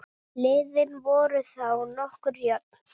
Liðin voru þá nokkuð jöfn.